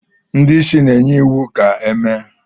ndị isi na-enye iwu ka e mee